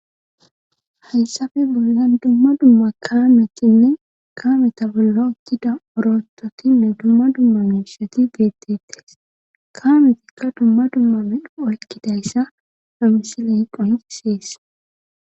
Hayssafe bollan dumma dumma kaametinne kaameta bollo okkida orototinne dumma dumma mimsheti beettettes kaametikka dumma dumma med oykkidayssa hamisi le hiqo higisees.